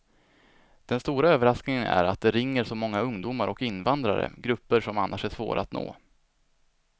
Den stora överraskningen är att det ringer så många ungdomar och invandrare, grupper som annars är svåra att nå.